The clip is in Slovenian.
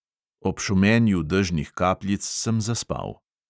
Ob šumenju dežnih kapljic sem zaspal.